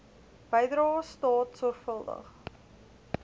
bydrae staat sorgvuldig